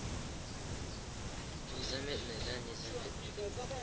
незаметная да незаметная